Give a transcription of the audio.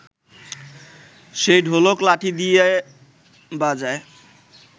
সেই ঢোলক লাঠি দিয়ে বাজায়